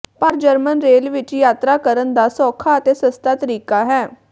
ਪਰ German rail ਵਿਚ ਯਾਤਰਾ ਕਰਨ ਦਾ ਸੌਖਾ ਅਤੇ ਸਸਤਾ ਤਰੀਕਾ ਹੈ